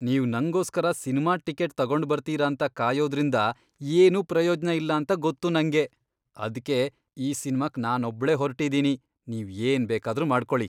ನೀವ್ ನಂಗೋಸ್ಕರ cinema ticket ತಗೊಂಡ್ಬರ್ತೀರ ಅಂತ ಕಾಯೋದ್ರಿಂದ ಏನೂ ಪ್ರಯೋಜ್ನ ಇಲ್ಲಾಂತ ಗೊತ್ತು ನಂಗೆ. ಅದ್ಕೆ ಈ ಸಿನ್ಮಾಕ್ ನಾನೊಬ್ಳೇ ಹೊರ್ಟಿದೀನಿ, ನೀವ್ ಏನ್ ಬೇಕಾದ್ರೂ ಮಾಡ್ಕೊಳಿ.